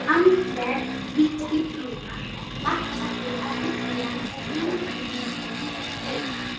Andleg vídd Biblíunnar markast af því, að Biblían er frumheimildin um